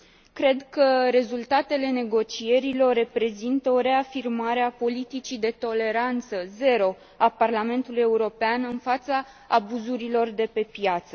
Cred că rezultatele negocierilor reprezintă o reafirmare a politicii de toleranță zero a Parlamentului European în fața abuzurilor de pe piață.